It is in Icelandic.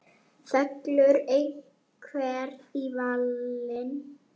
Fellur einhver í valinn?